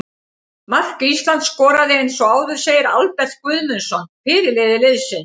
Mark Ísland skoraði eins og áður segir Albert Guðmundsson, fyrirliði liðsins.